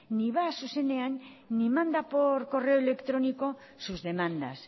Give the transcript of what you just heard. ni va a zuzenean ni manda por correo electrónico sus demandas